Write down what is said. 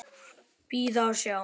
Bíða og sjá.